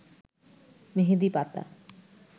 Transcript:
মেহেদী পাতা